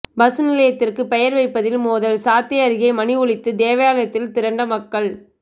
bus நிலையத்திற்கு பெயர் வைப்பதில் மோதல் சாத்தை அருகே மணி ஒலித்து தேவாலயத்தில் திரண்ட மக்கள்